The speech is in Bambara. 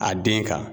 A den kan